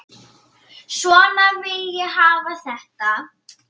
Svona vil ég hafa þetta.